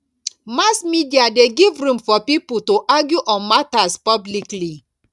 mass media de give room for pipo to argue on matters publicly